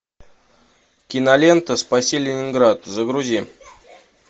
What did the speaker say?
кинолента спаси ленинград загрузи